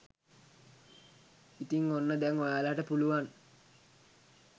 ඉතින් ඔන්න දැන් ඔයාලට පුළුවන්